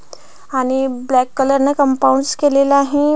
आणि black colour ने compounds केलेल आहे.